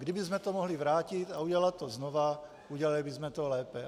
Kdybychom to mohli vrátit a udělat to znovu, udělali bychom to lépe.